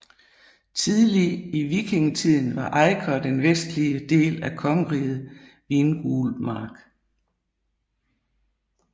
Tidlig i vikingetiden var Eiker den vestlige del af kongeriget Vingulmark